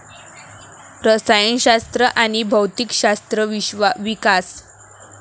रसायनशास्त्र आणि भौतिकशास्त्र विकास